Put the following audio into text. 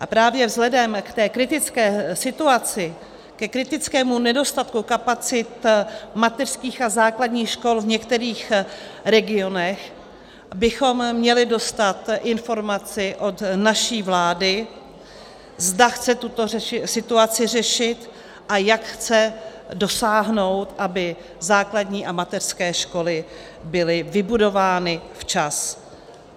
A právě vzhledem k té kritické situaci, ke kritickému nedostatku kapacit mateřských a základních škol v některých regionech, bychom měli dostat informaci od naší vlády, zda chce tuto situaci řešit a jak chce dosáhnout, aby základní a mateřské školy byly vybudovány včas.